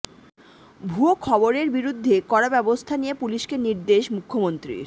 ভুয়ো খবরের বিরুদ্ধে কড়া ব্যবস্থা নিয়ে পুলিশকে নির্দেশ মুখ্যমন্ত্রীর